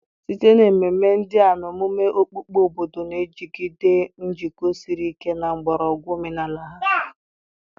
site na ememe ndị a na omume okpukpe, obodo na-ejigide njikọ siri ike na mgbọrọgwụ omenala ha.